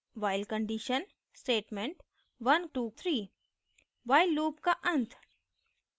while condition statement 123 while loop का अंत